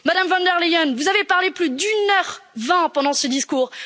Madame von der Leyen, vous avez parlé plus d'une heure vingt pendant ce discours.